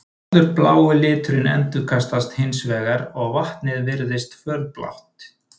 Allur blái liturinn endurkastast hins vegar og vatnið virðist fölblátt.